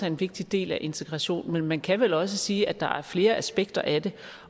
en vigtig del af integrationen men vi kan vel også sige at der er flere aspekter i det